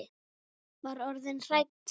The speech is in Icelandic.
Var orðin hrædd!